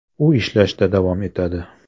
U ishlashda davom etadi.